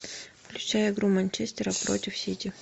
включай игру манчестера против сити